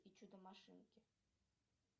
и чудо машинки